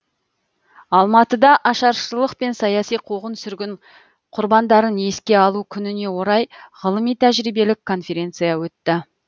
алматыда ашаршылық пен саяси қуғын сүргін құрбандарын еске алу күніне орай ғылыми тәжірибелік конференция өтті